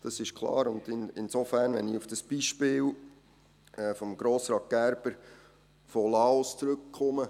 Das ist klar, und wenn ich auf das Beispiel von Grossrat Gerber mit Laos zurückkomme: